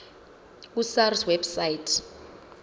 ku sars website